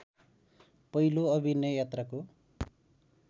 पहिलो अभिनय यात्राको